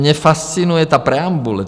Mě fascinuje ta preambule.